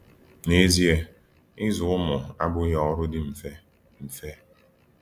N’ezie, ịzụ ụmụ abụghị ọrụ dị mfe. mfe.